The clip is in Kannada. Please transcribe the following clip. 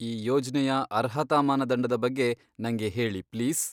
ಈ ಯೋಜ್ನೆಯ ಅರ್ಹತಾ ಮಾನದಂಡದ ಬಗ್ಗೆ ನಂಗೆ ಹೇಳಿ ಪ್ಲೀಸ್.